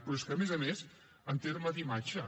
però és que a més a més en terme d’imatge